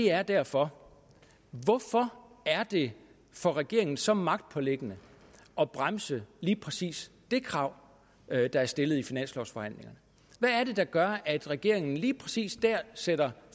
er derfor hvorfor er det for regeringen så magtpåliggende at bremse lige præcis det krav der er stillet i finanslovsforhandlingerne hvad er det der gør at regeringen lige præcis dér sætter